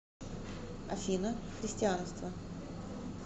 афина христианство